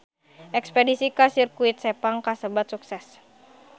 Espedisi ka Sirkuit Sepang kasebat sukses